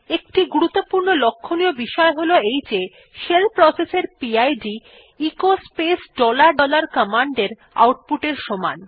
একটি গুরুত্বপূর্ণ লক্ষ্যনীয় বিষয় হল শেল প্রসেস এর PID echo space dollar dollar command এর আউটপুট এর সমান